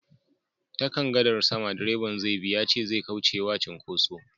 Ta kan gadar sama direban zai bi yace zai kauce wa cinkoso